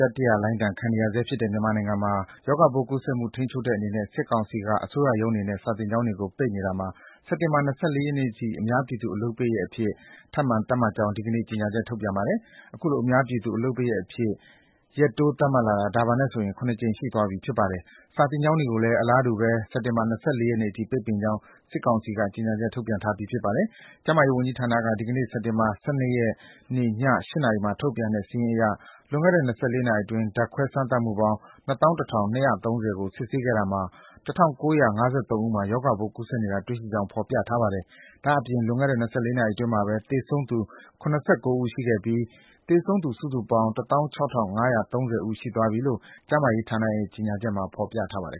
တတိယလှိုင်းဒဏ် ခံနေရဆဲဖြစ်တဲ့ မြန်မာနိုင်ငံမှာ ရေဂါပိုးကူးစက်မှု ထိန်းချုပ်တဲ့အနေနဲ့ စစ်ကောင်စီက အစိုးရရုံးတွေနဲ့ စာသင်ကျောင်းတွေကို ပိတ်နေတာမှာ စက်တင်ဘာလ ၂၄ ရက်နေ့အထိ အများပြည်သူ အလုပ်ပိတ်ရက်အဖြစ် သတ်မှတ်ကြောင်း ဒီကနေ့ ကြေညာချက် ထုတ်ပြန်ပါတယ်။ အခုလို အများပြည်သူ အလုပ်ပိတ်ရက်အဖြစ် ရက်တိုး သတ်မှတ်လာတာ ဒါပါနဲ့ဆို ၇ ကြိမ်ရှိသွားပြီ ဖြစ်ပါတယ်။ စာသင်ကျောင်းတွေကိုလည်း အလားတူပဲ စက်တင်ဘာ ၂၄ ရက်နေ့အထိ ပိတ်ပင်ကြောင်း စစ်ကောင်စီက ကြေညာချက် ထုတ်ပြန်ထားပြီး ဖြစ်ပါတယ်။ ကျန်းမာရေးဝန်ကြီးဌာနက ဒီနေ့ စက်တင်ဘာလ ၁၂ ရက်နေ့ ည ၈ နာရီမှာ ထုတ်ပြန်တဲ့ စာရင်းအရ လွန်ခဲ့တဲ့ ၂၄ နာရီအတွင်း ဓာတ်ခွဲစမ်းသပ်မှုပေါင်း ၂၁,၂၃၀ ခုကို စစ်ဆေးခဲ့တာမှာ ၁,၉၅၃ ဦးမှာ ရောဂါပိုး ကူးစက်နေတာ တွေ့ရှိကြောင်း ဖော်ပြထားပါတယ်။ ဒါ့အပြင် လွန်ခဲ့တဲ့ ၂၄ နာရီအတွင်းမှာပဲ သေဆုံးသူ ၇၉ ဦးရှိပြီး သေဆုံးသူ စုစုပေါင်း ၁၆,၅၃၀ ဦး ရှိသွားပြီဖြစ်တယ်လို့ ကျန်းမာရေးဌာနရဲ့ ကြေညာချက်မှာ ဖော်ပြထားပါတယ်